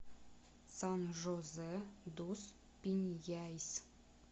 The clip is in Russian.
сан жозе дус пиньяйс